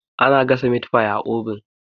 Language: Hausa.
ana gasa mit fi a obin